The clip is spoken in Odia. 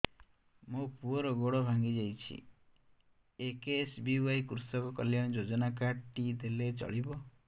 ମୋ ପୁଅର ଗୋଡ଼ ଭାଙ୍ଗି ଯାଇଛି ଏ କେ.ଏସ୍.ବି.ୱାଇ କୃଷକ କଲ୍ୟାଣ ଯୋଜନା କାର୍ଡ ଟି ଦେଲେ ଚଳିବ